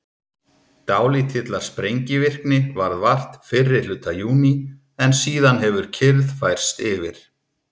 dálítillar sprengivirkni varð vart fyrri hluta júní en síðan hefur kyrrð færst yfir